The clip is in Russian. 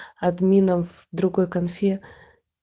админов в другой конфе